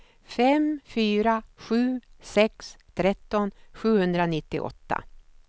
fem fyra sju sex tretton sjuhundranittioåtta